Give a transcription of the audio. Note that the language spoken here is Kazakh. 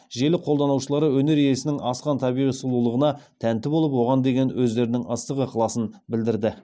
желі қолданушылары өнер иесінің асқан табиғи сұлулығына тәнті болып оған деген өздерінің ыстық ықыласын білдірді